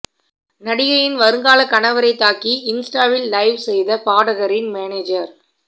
நடிகையின் வருங்கால கணவரை தாக்கி இன்ஸ்டாவில் லைவ் செய்த பாடகரின் மேனேஜர்